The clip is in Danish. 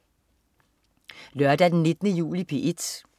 Lørdag den 19. juli - P1: